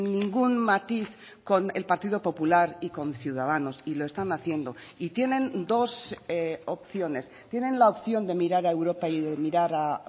ningún matiz con el partido popular y con ciudadanos y lo están haciendo y tienen dos opciones tienen la opción de mirar a europa y de mirar a